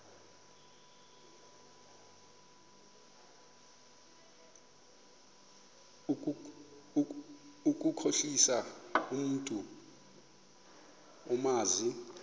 ukukhohlisa umntu omazi